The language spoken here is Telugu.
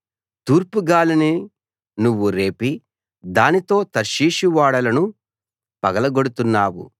తూర్పుగాలిని నువ్వు రేపి దానితో తర్షీషు ఓడలను పగలగొడుతున్నావు